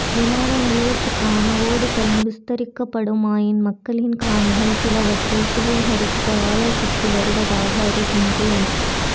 விமான நிலையாயத்துக்கான ஓடுதளம் விஸ்தரிக்கப்படுமாயின் மக்களின் காணிகள் சிலவற்றை சுவீகரிக்க ஆலோசித்து வருவதாக அறிகின்றேன்